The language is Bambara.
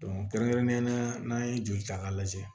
kɛrɛnkɛrɛnnenya la n'an ye joli ta ka lajɛ